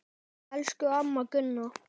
Elsku amma Gunna.